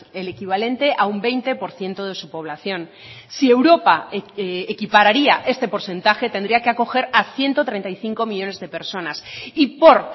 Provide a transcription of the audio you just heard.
el equivalente a un veinte por ciento de su población si europa equipararía este porcentaje tendría que acoger a ciento treinta y cinco millónes de personas y por